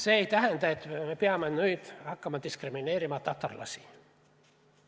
See ei tähenda, et me peame nüüd hakkama diskrimineerima näiteks tatarlasi.